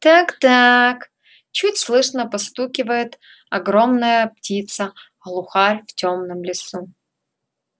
так-так чуть слышно постукивает огромная птица глухарь в тёмном лесу